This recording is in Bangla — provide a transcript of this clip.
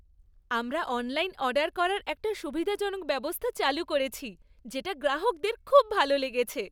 আমরা অনলাইন অর্ডার করার একটা সুবিধাজনক ব্যবস্থা চালু করেছি, যেটা গ্রাহকদের খুব ভালো লেগেছে।